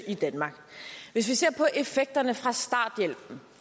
i danmark hvis vi ser på effekterne fra starthjælpen